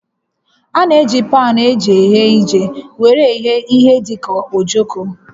A na-eji paanụ eji eghe ije were eghe ihe dị ka ojoko